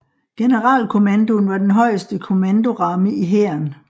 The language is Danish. Generalkommandoen var den højeste kommandoramme i Hæren